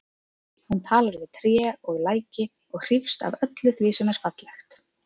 Hún talar við tré og læki og hrífst af öllu því sem er fallegt.